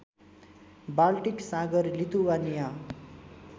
Baltic सागर Lithuania